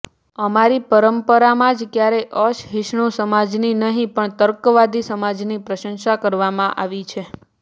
અમારી પરંપરામાં જ ક્યારેય અસહિષ્ણુ સમાજની નહિં પણ તર્કવાદી સમાજની પ્રશંસા કરવામાં આવી છે